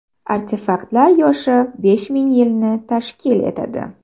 Artefaktlar yoshi besh ming yilni tashkil etadi.